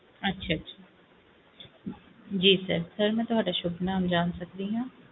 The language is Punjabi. ਠੀਕ ਏ ਜੀ ਕਿ sir ਮੈਂ ਤੁਹਾਡਾ ਸ਼ੁਭ ਨਾਮ ਜਾਂ ਸਕਦੀ ਆ